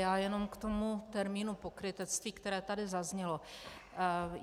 Já jen k tomu termínu pokrytectví, které tady zaznělo.